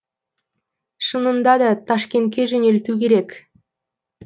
шынында да ташкентке жөнелту керек